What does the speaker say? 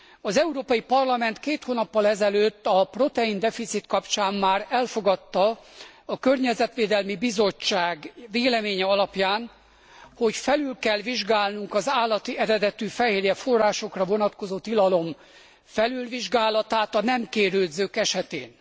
Az Európai Parlament két hónappal ezelőtt a proteindeficit kapcsán már elfogadta a Környezetvédelmi Bizottság véleménye alapján, hogy felül kell vizsgálnunk az állati eredetű fehérjeforrásokra vonatkozó tilalom felülvizsgálatát a nem kérődzők esetén.